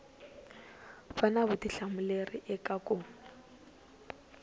va na vutihlamuleri eka ku